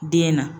Den na